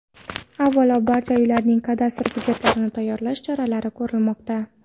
Avvalo, barcha uylarning kadastr hujjatlarini tayyorlash choralari ko‘rilmoqda.